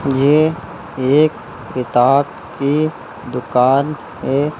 ये एक किताब की दुकान है।